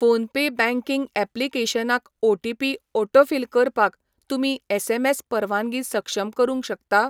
PhonePe banking ऍप्लिकेशनाक OTP autofill करपाक तुमी एसएमएस परवानगी सक्षम करूंक शकता?